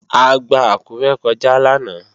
A gba Àkúré kọjá lánàá